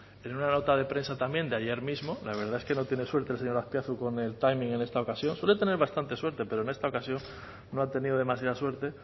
en una nota de prensa también de ayer mismo la verdad es que no tiene suerte el señor azpiazu con el timing en esta ocasión suele tener bastante suerte pero en esta ocasión no ha tenido demasiada suerte